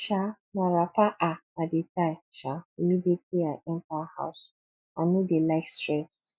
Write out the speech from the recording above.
um na wrapper um i dey tie um immediately i enta house i no dey like stress